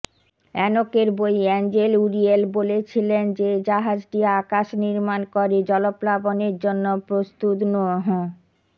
অ্যানোকের বই angel Uriel বলেছিলেন যে জাহাজটি আকাশ নির্মাণ করে জলপ্লাবনের জন্য প্রস্তুত নোহ